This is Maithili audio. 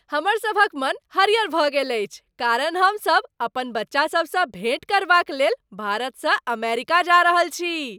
हमरसभक मन हरियर भऽ गेल अछि कारण हमसभ अपन बच्चासभसँ भेँट करबाक लेल भारतसँ अमेरिका जा रहल छी।